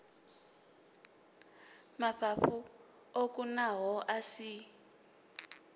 mafhafhu o kunaho a si